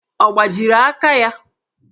Ọ gbajiri aka ya?